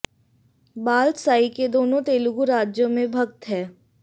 बाल साई के दोनों तेलुगु राज्यों में भक्त है